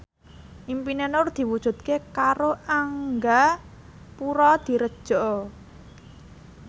impine Nur diwujudke karo Angga Puradiredja